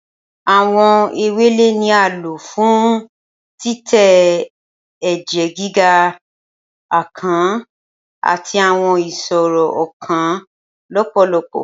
Awọn ewele ni a lo fun titẹ ẹjẹ giga, akàn, ati awọn iṣoro ọkan lọpọlọpọ.